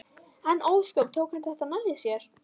En ósköp tók hann þetta nærri sér.